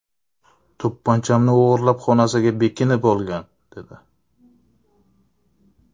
To‘pponchamni o‘g‘irlab xonasiga bekinib olgan”, dedi.